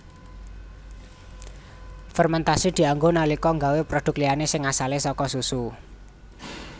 Fermentasi dianggo nalika nggawé produk liyané sing asale saka susu